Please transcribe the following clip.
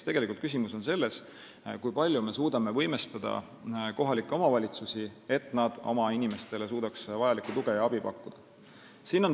Ehk küsimus on selles, kui palju me suudame võimestada kohalikke omavalitsusi, et nad suudaksid oma inimestele tuge ja abi pakkuda.